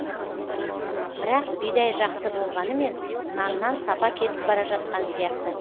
бірақ бидай жақсы болғанымен наннан сапа кетіп бара жатқан сияқты